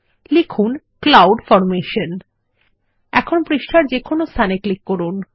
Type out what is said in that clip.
লিখব cloud formation এখন পৃষ্ঠার যেকোনো স্থানে ক্লিক করুন